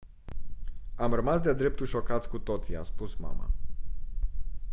am rămas de-a dreptul șocați cu toții a spus mama